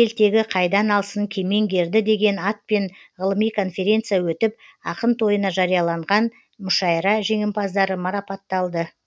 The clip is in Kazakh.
ел тегі қайдан алсын кемеңгерді деген атпен ғылыми конференция өтіп ақын тойына жарияланған мүшайра жеңімпаздары марапатталды